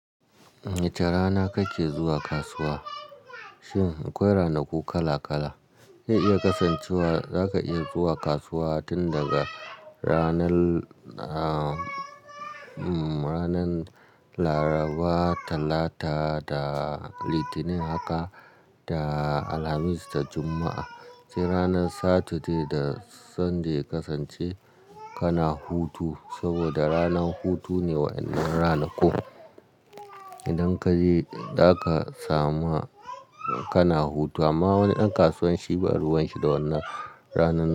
Wace rana kake zuwa kasuwa? Shin akwai ranaku kala-kala. Zai iya kasancewa zaka iya zuwa kasuwa tun daga ranar, ah, mm, ranar Laraba, Talata da Litinin haka da Alhamis da Juma'a. Sai ranar Saturday da Sunday ya kasance kana hutu saboda ranar hutu ne wa'iannan ranakun. Idan ka je zaka samu kana hutu amma wani ɗan kasuwan shi ba ruwan shi da wannan rana.